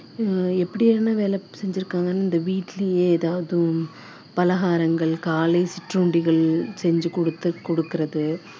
அஹ் எப்படி என்ன வேலை செஞ்சிருக்காங்க இந்த வீட்டிலேயே ஏதாவது பலகாரங்கள் காலை சிற்றூண்டிகள் செஞ்சு கொடுத்து கொடுக்கிறது